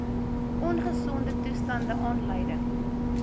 ongesonde toestande aanleiding